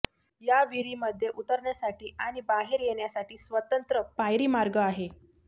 या विहिरीमध्ये उतरण्यासाठी आणि बाहेर येण्यासाठी स्वतंत्र पायरीमार्ग आहेत